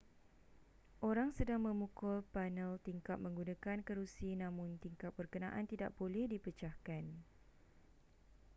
orang sedang memukul panel tingkap menggunakan kerusi namun tingkap berkenaan tidak boleh dipecahkan